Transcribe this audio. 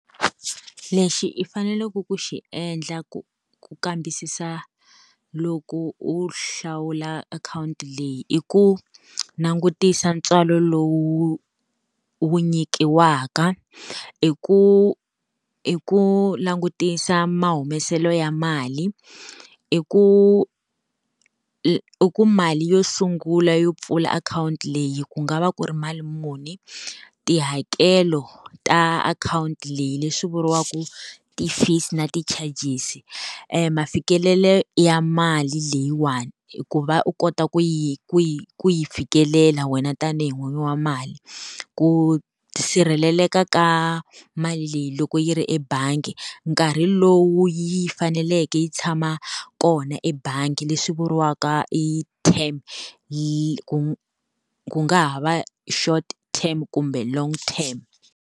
Lexi i faneleke ku xi endla ku kambisisa loko u hlawula akhawunti leyi, i ku langutisa ntswalo lowu wu nyikiwaka, i ku i ku langutisa ma humeselo ya mali. I ku ku mali yo sungula yo pfula akhawunti leyi ku nga va ku ri mali muni, tihakelo ta akhawunti leyi leswi vuriwaka ti-fees na ti-charges mafikelelo ya mali leyiwani ku va u kota ku yi ku yi ku yi fikelela wena tanihi n'wini wa mali. Ku sirheleleka ka mali leyi loko yi ri ebangi, nkarhi lowu yi faneleke yi tshama kona ebangi leswi vuriwaka i term yi ku ku nga ha va short team kumbe long team.